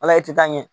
Ala i tɛ taa ɲɛ